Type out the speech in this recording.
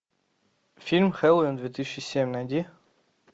фильм хэллоуин две тысячи семь найди